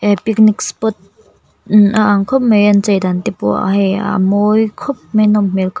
he picnic spot imm a ang khawp mai an chei dan te pawh hei a-a mawi khawp mai a nawm hmel khawp--